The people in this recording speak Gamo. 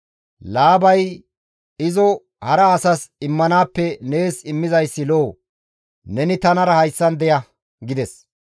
Laabay, «Izo hara asas immanaappe nees immizayssi lo7o; neni tanara hayssan deya» gides.